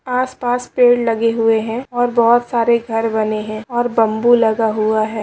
आस-पास पेड़ लगे हुए हैं और बोहोत सारे घर बने हैं और बंबू लगा हुआ है।